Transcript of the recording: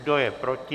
Kdo je proti?